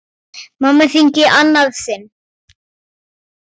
Mamma hringir í annað sinn.